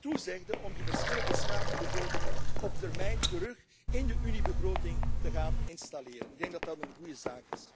toezegde om die verschillende schaduwbegrotingen op termijn weer in de Uniebegroting te gaan onderbrengen. Ik denk dat dat een goede